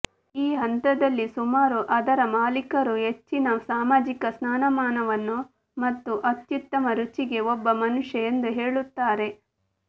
ಈ ಹಂತದಲ್ಲಿ ಸುಮಾರು ಅದರ ಮಾಲೀಕರು ಹೆಚ್ಚಿನ ಸಾಮಾಜಿಕ ಸ್ಥಾನಮಾನವನ್ನು ಮತ್ತು ಅತ್ಯುತ್ತಮ ರುಚಿಗೆ ಒಬ್ಬ ಮನುಷ್ಯ ಎಂದು ಹೇಳುತ್ತಾರೆ